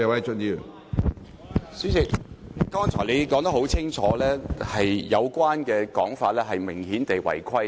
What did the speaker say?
主席，剛才你已說得很清楚，郭議員有關的發言內容明顯違規。